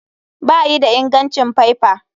Bayi da ingancin faifa.